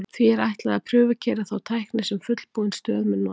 því er ætlað að prufukeyra þá tækni sem fullbúin stöð mun nota